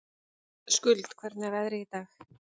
Skuld, hvernig er veðrið í dag?